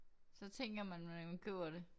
Så tænker man når man køber det